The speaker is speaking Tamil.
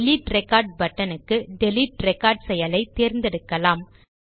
டிலீட் ரெக்கார்ட் buttonக்கு டிலீட் ரெக்கார்ட் செயலை தேர்ந்தெடுக்கலாம்